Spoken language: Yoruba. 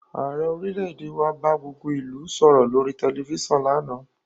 Ààrẹ orílẹ̀èdè wa bá gbogbo ìlú sọ̀rọ̀ lórí tẹ̀lifísàn lánàá